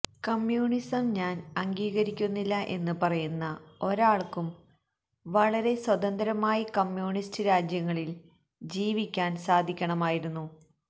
communism ഞാന് അംഗീകരിക്കുന്നില്ല എന്ന് പറയുന്ന ഒരാള്ക്കും വളരെ സ്വതന്ത്രമായി കമ്യൂണിസ്റ്റ് രാജ്യങ്ങളില് ജീവിക്കാന് സാധിക്കണമായിരുന്നു